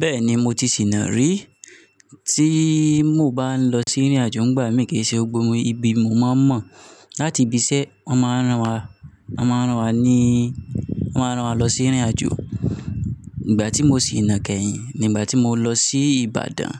Bẹ́ẹ̀ni mo ti sìná rí, tí mo bá ń lọ sí ìrìnàjò, nígbà mì kí í ṣe gbogbo ibi mo máa ń mọ̀n. Láti ibi iṣẹ́ wọ́n máa ń rán wa, wọ́n máa ń rán wa níí, wọ́n máa ń rán wa lọ sí ìrìnàjò. Ìgbà tí mo sì ná kẹ́yìn ni ìgbà tí mo lọ sí Ìbàdàn,